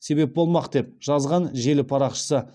себеп болмақ деп жазған желі парақшысы